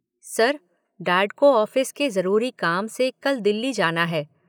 Sir, dad को office के जरूरी काम से कल दिल्ली जाना है।